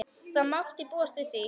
Það mátti búast við því.